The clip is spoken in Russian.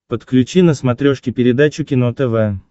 подключи на смотрешке передачу кино тв